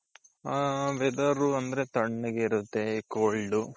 ಹ weather ಅಂದ್ರೆ ತಣ್ಣಗಿರುತ್ತೆ cold.